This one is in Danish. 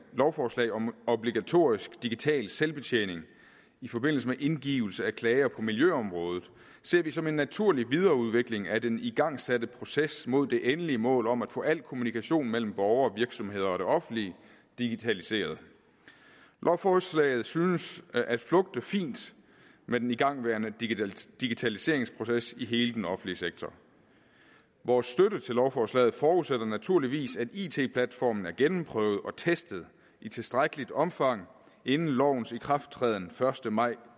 lovforslag om obligatorisk digital selvbetjening i forbindelse med indgivelse af klager på miljøområdet ser vi som en naturlig videreudvikling af den igangsatte proces mod det endelige mål om at få al kommunikation mellem borgere og virksomheder og det offentlige digitaliseret lovforslaget synes at flugte fint med den igangværende digitaliseringsproces i hele den offentlige sektor vores støtte til lovforslaget forudsætter naturligvis at it platformen er gennemprøvet og testet i tilstrækkeligt omfang inden lovens ikrafttræden den første maj